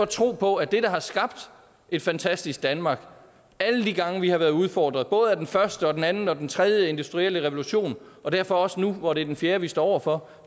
tro på at det der har skabt et fantastisk danmark alle de gange vi har været udfordret både den første den anden og den tredje industrielle revolution og derfor også nu hvor det er den fjerde vi står over for